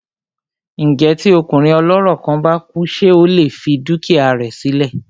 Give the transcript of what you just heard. Ǹjẹ́ tí ọkùnrin ọlọ́rọ̀ kan bá kú ṣé ó lè fi dúkìá rẹ sí lẹ̀?